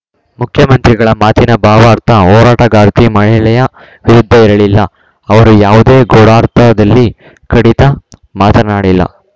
ಮುಖ್ಯಮಂತ್ರಿಗಳ ಮಾತಿನ ಭಾವಾರ್ಥ ಹೋರಾಟಗಾರ್ತಿ ಮಹಿಳೆಯ ವಿರುದ್ಧ ಇರಲಿಲ್ಲ ಅವರು ಯಾವುದೇ ಗೂಡಾರ್ಥದಲ್ಲಿ ಖಡಿತ ಮಾತನಾಡಿಲ್ಲ